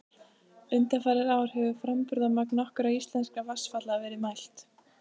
Undanfarin ár hefur framburðarmagn nokkurra íslenskra vatnsfalla verið mælt.